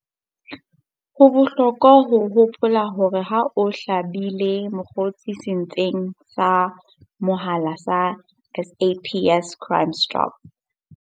Ho bohlokwa ho hopola hore ha o hlabile mokgosi setsing sa mehala sa SAPS Crime Stop.